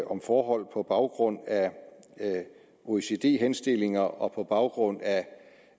om forhold på baggrund af oecd henstillinger og på baggrund